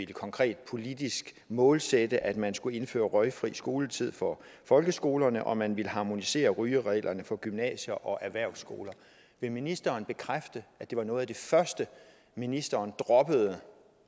konkret politisk målsætte at man skulle indføre røgfri skoletid for folkeskolerne og at man ville harmonisere rygereglerne for gymnasier og erhvervsskoler vil ministeren bekræfte at det var noget af det første ministeren droppede